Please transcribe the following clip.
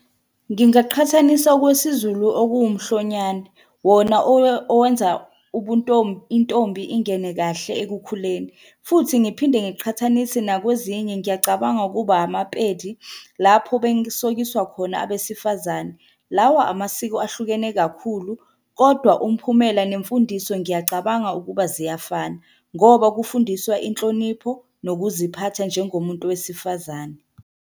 Ngingaqhathanisa okwesiZulu okuwumhlonyane, wona owenza intombi ingene kahle ekukhuleni, futhi ngiphinde ngiqhathanise nakwezinye. Ngiyacabanga ukuba amaPedi lapho besokiswa khona abesifazane. Lawa amasiko ahlukene kakhulu kodwa umphumela nemfundiso ngiyacabanga ukuba ziyafana, ngoba kufundiswa inhlonipho nokuziphatha njengomuntu wesifazane.